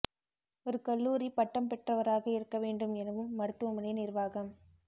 ஒரு கல்லூரி பட்டம் பெற்றவராக இருக்க வேண்டும் எனவும் மருத்துவமனை நிர்வாகம்